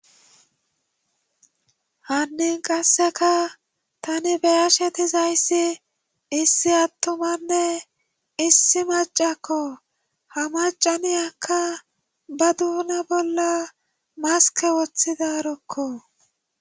hannin qasseka tani beyashetizayssi issi attumanne issi macakko. ha macaniyakka ba duuna bolla maske woththidarokko.